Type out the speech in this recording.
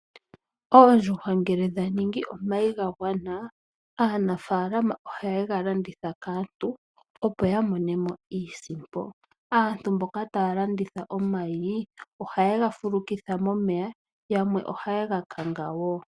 Oondjuhwa ngele dhavala omayi gagwana, aanafaalama ohaye ga landitha kaantu opo yamonemo iisimpo. Aantu mboka taya landitha omayi, ohaye ga fulukitha momeya nenge taye ga kanga.